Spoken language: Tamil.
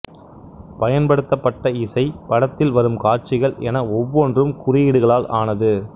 பயன்படுத்தப்பட்ட இசை படத்தில் வரும் காட்சிகள் என ஒவ்வொன்றும் குறியீடுகளால் ஆனது